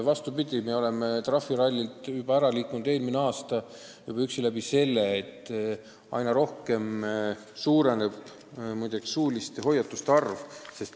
Vastupidi, me oleme trahviralli lainelt juba eelmine aasta ära liikunud ainuüksi seeläbi, et aina rohkem suureneb suuliste hoiatuste arv.